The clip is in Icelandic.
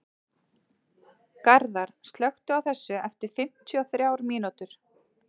Garðar, slökktu á þessu eftir fimmtíu og þrjár mínútur.